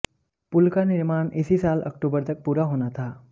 पुल का निर्माण इसी साल अक्टूबर तक पूरा होना था